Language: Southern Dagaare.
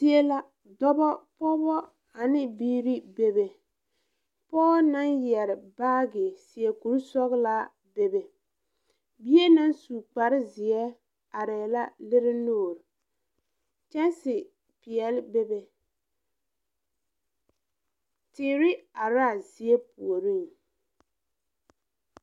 Zie la dɔbɔ pɔɔbɔ aneŋ biire bebe pɔɔ naŋ yɛre baagi seɛ kurisɔglaa bebe bie naŋ su kparezeɛ areɛɛ la lire nuure kyɛnse peɛɛli bebe teere araa zie puoriŋ.